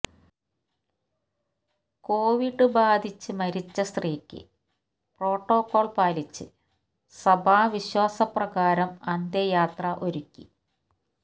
Covid ബാധിച്ച മരിച്ച സ്ത്രീയ്ക്ക് പ്രോട്ടോക്കോൾ പാലിച്ച് സഭാവിശ്വാസപ്രകാരം അന്ത്യയാത്ര ഒരുക്കി